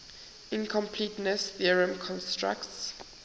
incompleteness theorem constructs